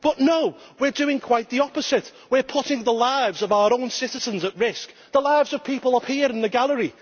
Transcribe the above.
But no, we are doing quite the opposite we are putting the lives of our own citizens at risk the lives of people like those here in the gallery.